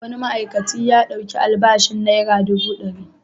Wani ma'aikaci ya ɗauki albashin naira dubu ɗari.